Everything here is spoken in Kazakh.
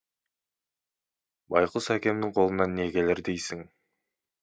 байқұс әкемнің қолынан не келер дейсің